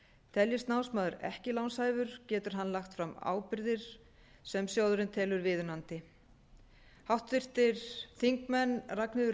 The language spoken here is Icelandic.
teljist námsmaður ekki lánshæfur getur hann lagt fram ábyrgðir sem sjóðurinn telur viðunandi háttvirtur þingmaður ragnheiður